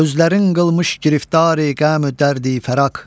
Özlərin qılmış giriftari qəmu dərdi fəraq.